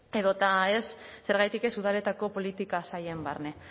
edota ez zergatik ez udaletako politika sailen barne